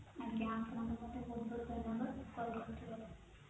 ଆଜ୍ଞା ଆପଣଙ୍କୁ ବି ବହୂୟ ବହୁତ ଧନ୍ୟବାଦ call କରିଥିବାରୁ